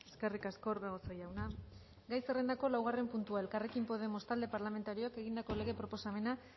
eskerrik asko orbegozo jauna gai zerrendako laugarren puntua elkarrekin podemos talde parlamentarioak egindako lege proposamena